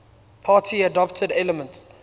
party adapted elements